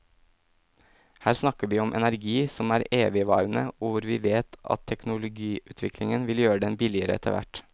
Her snakker vi om energi som er evigvarende og hvor vi vet at teknologiutviklingen vil gjøre den billigere etterhvert.